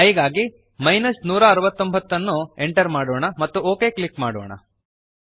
i ಗಾಗಿ 169 ಅನ್ನು enter ಮಾಡೋಣ ಮತ್ತು ಒಕ್ ಕ್ಲಿಕ್ ಮಾಡೋಣ